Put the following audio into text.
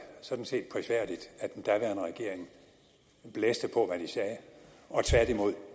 sådan set prisværdigt at den daværende regering blæste på hvad de sagde og tværtimod